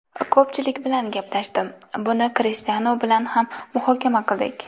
Ko‘pchilik bilan gaplashdim, buni Krishtianu bilan ham muhokama qildik.